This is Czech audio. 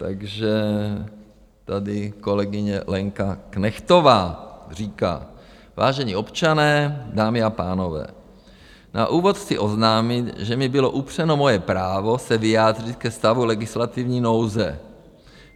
Takže tady kolegyně Lenka Knechtová říká: Vážení občané, dámy a pánové, na úvod chci oznámit, že mi bylo upřeno moje právo se vyjádřit ke stavu legislativní nouze.